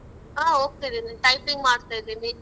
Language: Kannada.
ಹ ಹೋಗ್ತಿದಿನಿ typing ಮಾಡ್ತ ಇದೀನಿ .